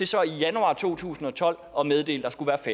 så i januar to tusind og tolv at meddele